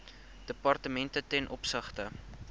departemente ten opsigte